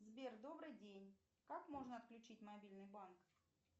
сбер добрый день как можно отключить мобильный банк